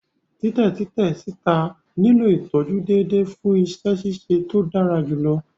Titẹ titẹ sita nilo itọju deede fun iṣẹ ṣiṣe to dara julọ.